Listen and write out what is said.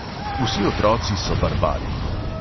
Vsi otroci so barbari.